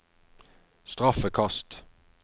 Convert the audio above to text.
straffekast